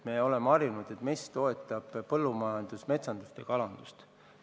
Me oleme harjunud, et MES toetab põllumajandust, metsandust ja kalandust.